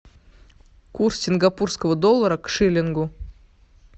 курс сингапурского доллара к шиллингу